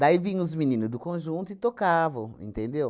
Daí vinham os menino do conjunto e tocavam, entendeu?